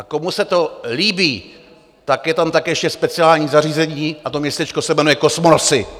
A komu se to líbí, tak je tam také ještě speciální zařízení, a to městečko se jmenuje Kosmonosy.